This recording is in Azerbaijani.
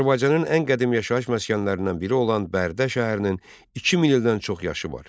Azərbaycanın ən qədim yaşayış məskənlərindən biri olan Bərdə şəhərinin 2000 ildən çox yaşı var.